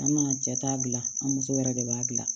An ka cɛ ta gilan an muso yɛrɛ de b'a dilan